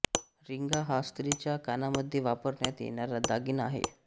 रिंगा हा स्त्रीच्या कानामध्ये वापरण्यात येणारा दागिना आहे